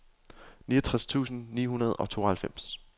niogtres tusind ni hundrede og tooghalvfems